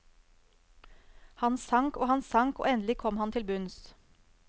Han sank og han sank, og endelig kom han til bunns.